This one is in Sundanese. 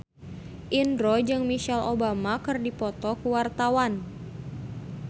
Indro jeung Michelle Obama keur dipoto ku wartawan